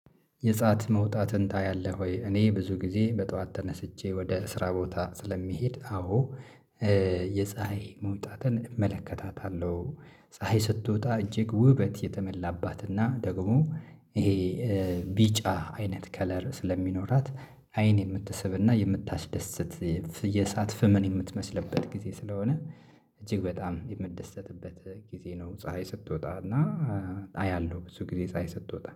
የፀሀይ መውጣትን ታያለህ ወይ? እኔ ብዙ ጊዜ በጧት ተነስቼ ወደ ስራ ቦታ ስለሚሄድ አዎ የፀሀይ መውጣትን እመለከታታለሁ። ፀሀይ ስትወጣ እጅግ ውበት የተመላባትና ደግሞ። ይሄ ቢጫ አይነት ከለር ስለሚኖራት። አይን የምትስብና የምታስደስት የሳት ፍምን የምትመስልበት ጊዜ ስለሆነ። እጅግ በጣም የምትደስትበት ጊዜ ነው። ፀሀይ ስትወጣ እና አያለሁ ብዙ ጊዜ ፀሀይ ስትወጣ